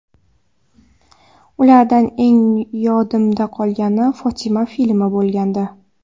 Ulardan eng yodimda qolgani ‘Fotima’ filmi bo‘lgandi.